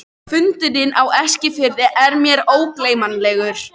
Fundurinn á Eskifirði er mér ógleymanlegur.